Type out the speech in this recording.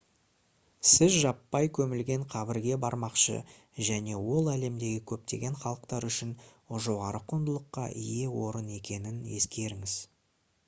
сіз жаппай көмілген қабірге бармақшы және ол әлемдегі көптеген халықтар үшін жоғары құндылыққа ие орын екенін ескеріңіз